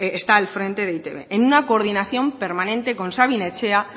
está al frente de e i te be en una coordinación permanente con sabin etxea